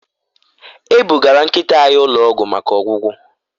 E bugara nkịta anyị ụlọ ọgwụ maka ọgwụgwọ